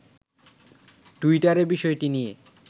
টুইটারে বিষয়টি নিয়ে